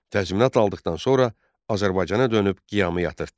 Təzminat aldıqdan sonra Azərbaycana dönüb qiyamı yatırtdı.